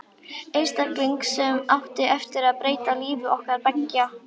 Einstakling sem átti eftir að breyta lífi okkar beggja.